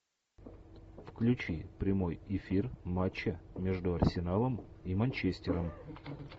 включи прямой эфир матча между арсеналом и манчестером